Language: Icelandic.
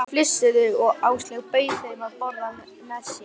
Erfiðleikar í kynlífi smitast yfir á önnur samskipti.